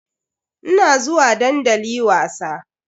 Ina zuwa dandali wasa.